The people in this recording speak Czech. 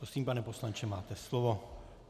Prosím, pane poslanče, máte slovo.